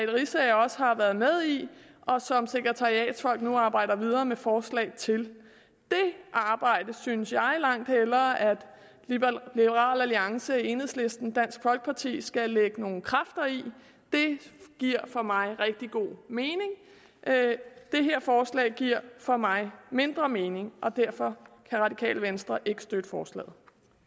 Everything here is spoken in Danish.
riisager også har været med i og som sekretariatsfolk nu arbejder videre med forslag til det arbejde synes jeg langt hellere at liberal alliance enhedslisten og dansk folkeparti skal lægge nogle kræfter i det giver for mig rigtig god mening det her forslag giver for mig mindre mening og derfor kan det radikale venstre ikke støtte forslaget